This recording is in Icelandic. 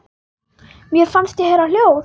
Mér fannst ég heyra hljóð.